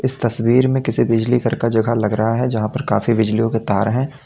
इस तस्वीर में किसी बिजली घर का जगह लग रहा है जहां पर काफी बिजलियों के तार हैं।